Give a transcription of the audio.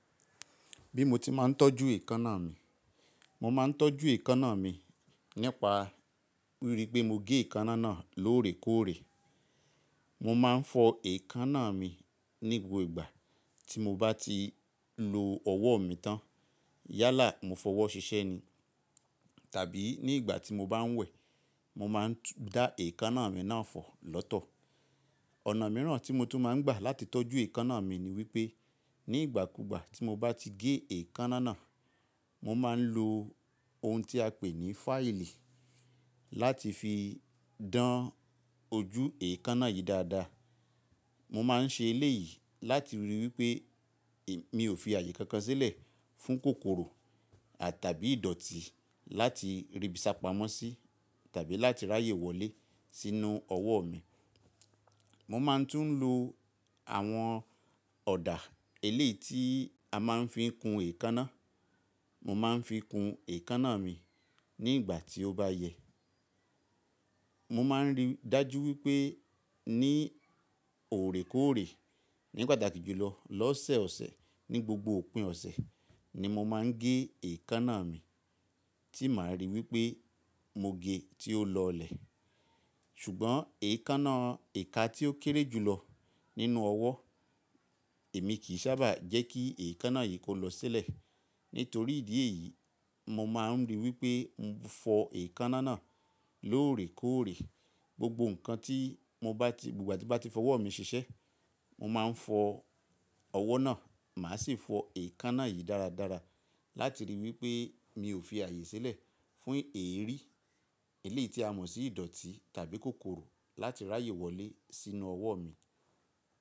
Bí mo ti máa ń tọ́jú èékánná mi, mo máa ń tọ́jú èékánná mi nípa wípé mo gẹ èékánná náà lóòrèkóòrè. Mo máa ń fọ èékánná mi nígbà gbogbo ìgbà tí mo bá ti lo ọwọ́ mi tán. Yálà mo fọ ọwọ́ ṣiṣẹ́ ni. Tàbí ní ìgbà tí mo bá ń wẹ̀, mo máa ń dá èékánná mi náà fọ̀ lọ́tọ̀. Ọ̀nà mìíràn tí mo tún máa ń gbà láti tọ́jú èékánná mi ni wípé nígbàkúgbà tí mo bá ti gé èékánná náà, mo máa ń lo ohun tí a pè ní fáìlì láti fi dán ojú èékánná yìí dáadáa. Mo máa ń ṣe eléyìí láti ríi wípé mi ò fi ààyè kankan sílẹ̀ fún kòkòrò àtàbí ìdọ̀tí láti ribi sa pamọ́ sí tàbí láti ráyè wọlé sínú ọwọ́ mi. Mo máa ń tún lo àwọn ọ̀dà eléyìí tí a máa ń fi kun èékánná. Mo máa ń fi kun èékánná mi ní ìgbà tí ó bá yẹ. Mo máa ń rí dájú wípé ní òrèkóòrè, nípa dàgbà jùlọ lọ́sẹ̀ ọ̀sẹ̀ ní gbogbo òpin ọ̀sẹ̀ ni mo máa ń gé èékánná mi tí màá ríi wípé mo gẹ́ tí ó lọlẹ̀. Ṣùgbọ́n èékánná èka tí ó kéré jùlọ nínú ọwọ́, èmi kì í sábà jẹ́ kí èékánná yìí kó lọ sílẹ̀. Nítorí ìdí èyí, mo máa ń ríi wípé n fọ èékánná náà lóòrèkóòrè gbogbo ǹkan tí mo bá ti, gbogbo ìgbà tí mo bá ti fọ ọwọ́ mi ṣiṣẹ́, mo máa ń fọ ọwọ́ náà, màá sì ń fọ èékánná yìí dáradára láti ríi wípé mi ò fi ààyè sílẹ̀ fún èérí eléyìí tí a mọ̀ sí ìdọ̀tí tàbí kòkòrò láti ráyè wọlé sínú ọwọ́ mi.